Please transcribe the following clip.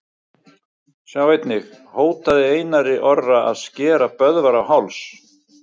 Sjá einnig: Hótaði Einar Orri að skera Böðvar á háls?